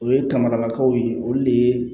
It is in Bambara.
O ye kamanakaw ye olu de ye